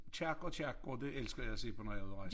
Kirker og kirkegårde det elsker jeg at se på når jeg er ude og rejse